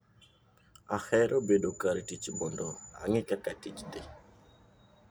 Ahero bedo kar tich mondo ang'e kaka tich dhi.